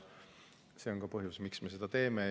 See on ka põhjus, miks me seda teeme.